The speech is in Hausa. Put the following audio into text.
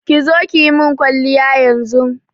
ƙi zo kiyimin kwaliya yanzun.